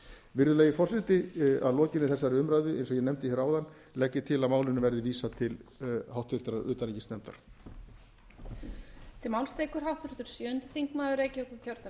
virðulegi forseti að lokinni þessari umræðu eins og ég nefndi hér áðan legg ég til að málinu verði vísað til háttvirtrar utanríkismálanefndar